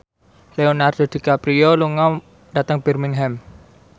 Leonardo DiCaprio lunga dhateng Birmingham